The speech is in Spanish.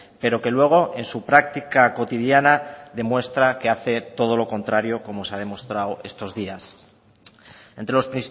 pero que luego en su práctica cotidiana demuestra que hace todo lo contrario como se ha demostrado estos días entre los